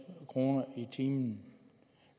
kroner i timen